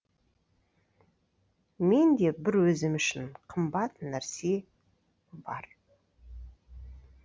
менде бір өзім үшін қымбат нәрсе бар